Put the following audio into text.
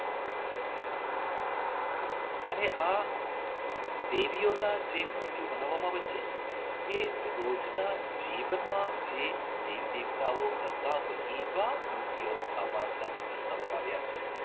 અને આ દેવીઓના તે જ મૂર્તિ બનાવવામાં જ એ રોજના જીવનમાં એ દેવી દેવતાઓ કરતા હોય એવા મૂર્તિઓ આમાં ખાસ દર્શાવવામાં આવ્યા છે.